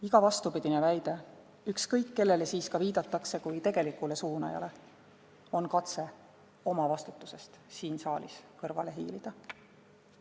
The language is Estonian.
Iga vastupidine väide, ükskõik kellele siis ka viidatakse kui "tegelikule suunajale", on katse oma vastutusest siin saalis kõrvale hiilida.